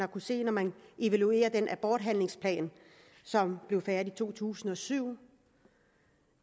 se da man evaluerede den aborthandlingsplan som blev færdig i to tusind og syv